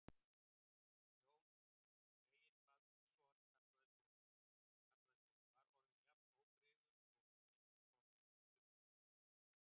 Jón Reginbaldsson kallaði svo, var orðin jafn óbrigðul og vetur kom á eftir sumri.